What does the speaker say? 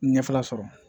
Ɲɛfɛla sɔrɔ